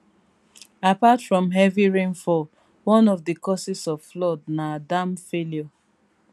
apart from heavy rainfall one of di causes of flood nadam failure